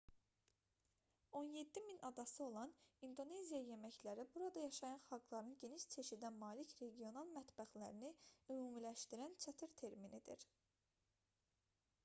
17 000 adası olan i̇ndoneziya yeməkləri burada yaşayan xalqların geniş çeşidə malik regional mətbəxlərini ümumiləşdirən çətir terminidir